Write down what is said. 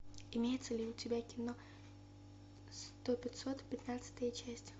имеется ли у тебя кино сто пятьсот пятнадцатая часть